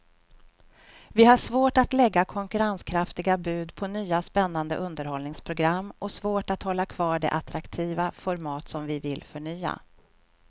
Vi har svårt att lägga konkurrenskraftiga bud på nya spännande underhållningsprogram och svårt att hålla kvar de attraktiva format som vi vill förnya.